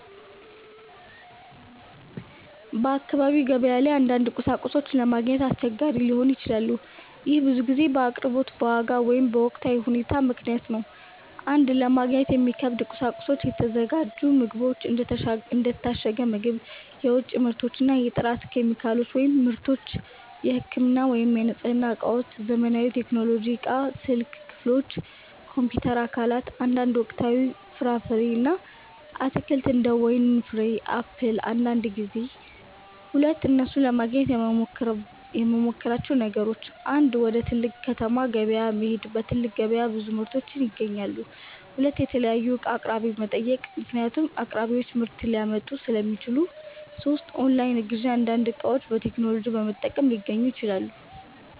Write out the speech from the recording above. በአካባቢ ገበያ ላይ አንዳንድ ቁሳቁሶች ለማግኘት አስቸጋሪ ሊሆኑ ይችላሉ። ይህ ብዙ ጊዜ በአቅርቦት፣ በዋጋ ወይም በወቅታዊ ሁኔታ ምክንያት ነው። 1) ለማግኘት የሚከብዱ ቁሳቁሶች የተዘጋጁ ምግቦች እንደ የታሸገ ምግብ፣ የውጭ ምርቶች የጥራት ኬሚካሎች / ምርቶች የህክምና ወይም የንጽህና እቃዎች ዘመናዊ ቴክኖሎጂ እቃዎች ስልክ ክፍሎች፣ ኮምፒውተር አካላት አንዳንድ ወቅታዊ ፍራፍሬ እና አትክልት እንደ ወይን ፍሬ ወይም አፕል አንዳንድ ጊዜ 2) እነሱን ለማግኘት የምመሞክራቸው ነገሮች 1. ወደ ትልቅ ከተማ ገበያ መሄድ በትልቅ ገበያ ብዙ ምርቶች ይገኛሉ 2. የተለያዩ እቃ አቅራቢዎችን መጠየቅ ምክንያቱም አቅራቢዎች ምርት ሊያመጡ ሥለሚችሉ 3. ኦንላይን ግዢ አንዳንድ እቃዎች በቴክኖሎጂ በመጠቀም ሊገኙ ይችላሉ